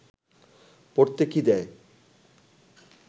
পড়তে কি দেয়